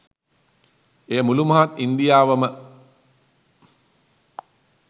එය මුළු මහත් ඉන්දියාවම